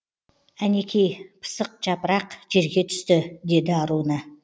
әнекей пысық жапырақ жерге түсті деді аруна